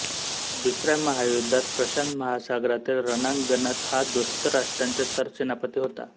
दुसऱ्या महायुद्धात प्रशांत महासागरातील रणांगणात हा दोस्त राष्ट्रांचे सरसेनापती होता